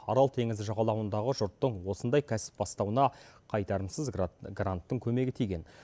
арал теңізі жағалауындағы жұрттың осындай кәсіп бастауына қайтарымсыз гранттың көмегі тиген